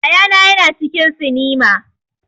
Yaya na ya na cikin sinima